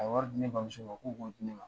A ye wari di ne bamuso ma ko k'o di ne ma.